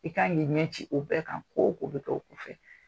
I kan k'i ɲɛ ci o bɛɛ kan ko o ko bɛ kɛ o kɔfɛ.